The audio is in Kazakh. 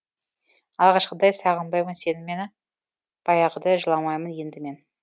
алғашқыдай сағынбаймын сені мен баяғыдай жыламаймын енді мен